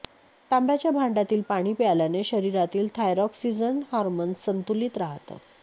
तांब्याच्या भांडयातील पाणी प्यायल्याने शरीरातील थायरॉक्सिजन हार्मोन्स संतुलित राहतं